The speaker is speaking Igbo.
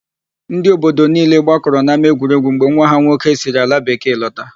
Ndị obodo niile gbakọrọ n'ámáegwuregwu mgbe nwa ha nwoke siri alabekee lọta.